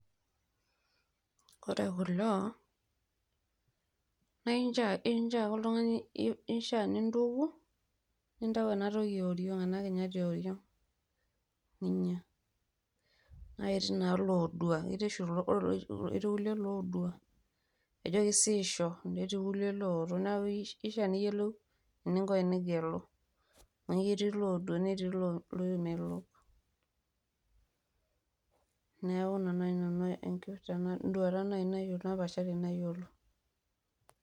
ore kulo naa keishiaa oltung'ani nintuku nintayu enatoki ee oriong', ena kinyati ee oriong' ninya. kake ketii oshi iloodua ketii kulie lodua leijo keishiijo na ketii kulie looto neaku keishiaa niyiolou eninko tenigelu. amu ketii loodua netii loomelok neaku ina naaji enduata napaashari nayiolo.